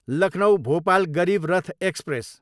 Lucknow, Bhopal Garib Rath express